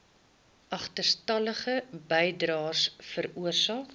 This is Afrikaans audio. agterstallige bydraes veroorsaak